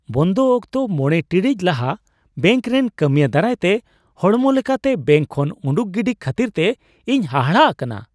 ᱵᱚᱱᱫᱚ ᱚᱠᱛᱚ ᱕ ᱴᱤᱲᱤᱡ ᱞᱟᱦᱟ ᱵᱮᱹᱝᱠ ᱨᱮᱱ ᱠᱟᱹᱢᱤᱭᱟᱹ ᱫᱟᱨᱟᱭᱛᱮ ᱦᱚᱲᱢᱚ ᱞᱮᱠᱟᱛᱮ ᱵᱮᱹᱝᱠ ᱠᱷᱚᱱ ᱩᱰᱩᱠ ᱜᱤᱰᱤ ᱠᱷᱟᱹᱛᱤᱨᱛᱮ ᱤᱧ ᱦᱟᱦᱟᱲᱟᱜ ᱟᱠᱟᱱᱟ ᱾